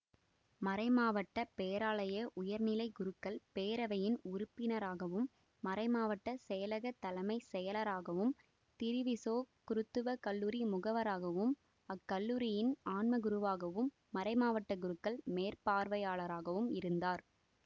மறைமாவட்ட பேராலய உயர்நிலை குருக்கள் பேரவையின் உறுப்பினராகவும் மறைமாவட்ட செயலகத் தலைமை செயலராகவும் திரிவிசோ குருத்துவ கல்லூரி முகவராகவும் அக்கல்லூரியின் ஆன்மகுருவாகவும் மறைமாவட்ட குருக்கள் மேற்பார்வையாளராகவும் இருந்தார்